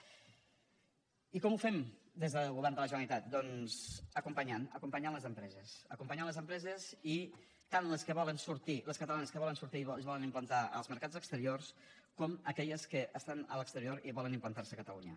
i com ho fem des del govern de la generalitat doncs acompanyant acompanyant les empreses acompanyant les empreses tant les que volen sortir les catalanes que volen sortir i es volen implantar als mercats exteriors com aquelles que estan a l’exterior i volen implantar se a catalunya